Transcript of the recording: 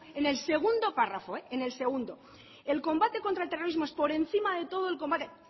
en el segundo párrafo en el segundo el combate contra el terrorismo es por encima de todo el combate